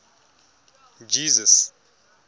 jesus